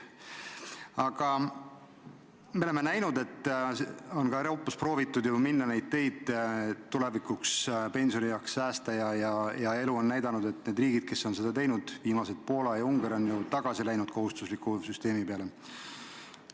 Aga me oleme näinud, et mujal Euroopas on proovitud minna mööda seda teed, et tulevikuks, pensionieaks säästa, ja elu on näidanud, et need riigid, kes on seda teinud – viimased on Poola ja Ungari –, on tagasi läinud kohustusliku süsteemi peale.